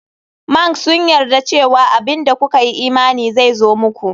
Mnks sun yarda cewa abin da kuka yi imani zai zo muku.